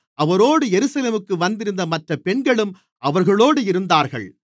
அவரோடு எருசலேமுக்கு வந்திருந்த மற்ற பெண்களும் அவர்களோடு இருந்தார்கள்